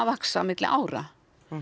vaxa á milli ára